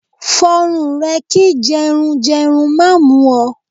Fọrùn rẹ kí jẹrun jẹrun má mú ọ!